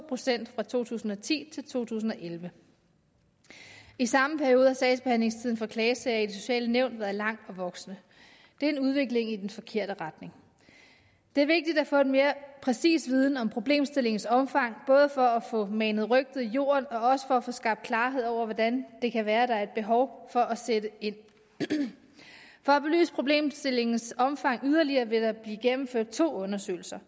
procent fra to tusind og ti til to tusind og elleve i samme periode har sagsbehandlingstiden for klagesager i de sociale nævn været lang og voksende det er en udvikling i den forkerte retning det er vigtigt at få en mere præcis viden om problemstillingens omfang både for at få manet rygtet i jorden og også for at få skabt klarhed over hvordan det kan være at der er et behov for at sætte ind for at belyse problemstillingens omfang yderligere vil der blive gennemført to undersøgelser